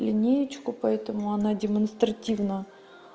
линеечку поэтому она демонстративно